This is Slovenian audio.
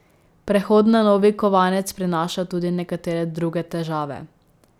Prehod na novi kovanec prinaša tudi nekatere druge težave.